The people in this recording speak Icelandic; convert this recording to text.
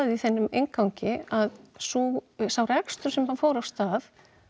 í þínum inngangi að sá sá rekstur sem þarna fór af stað